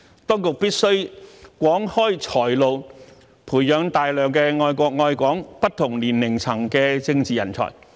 當局必須廣開"才"路，培養大量愛國愛港、不同年齡層的政治人才。